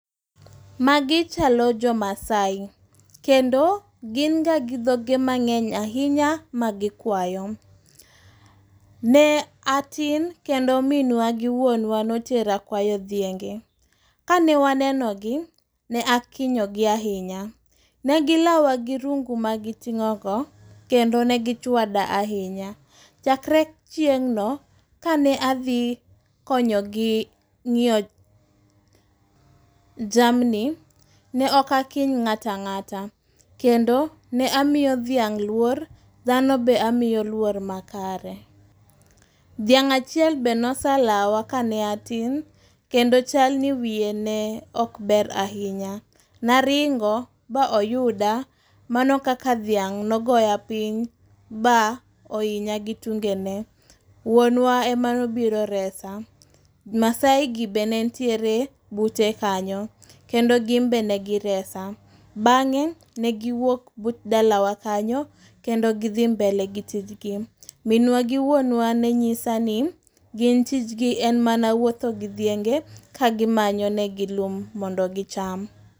Magi chalo jomasai. Kendo ginga gi dhoge mang'eny ainya magikwayo. Ne atin kendo minwa gi wuonwa notera kwayo dhienge ka ne wanenogi, ne akinyogi ainya negilawa gi rungu magiting'ogo kendo negichwada ainya. Chakre chieng'no kane adhi konyogi ng'iyo jamni ne okakiny ng'atang'ata kendo ne amio dhiang' luor, dhano be amiyo luor makare. Dhiang' achiel be noselawa ka ne atin kendo chalni wiye neokber ainya. Naringo ba oyuda, mano kaka dhiang' nogoya piny ba oinya gi tungene. Wuonwa emanobiro resa. Masaigi be nentiere bute kanyo kendo gimbe negiresa. Bang'e negiwuok but dalawa kanyo kendo gidhi mbele gi tijgi. Minwa gi wuonwa nenyisa ni gin tijgi en mana wuotho gi dhienge kagimanyonegi lum mondo gicham.